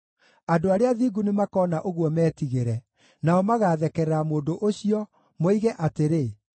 Andũ arĩa athingu nĩmakona ũguo metigĩre; nao magathekerera mũndũ ũcio, moige atĩrĩ,